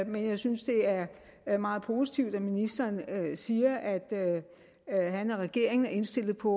men jeg synes det er meget positivt at ministeren siger at at han og regeringen er indstillet på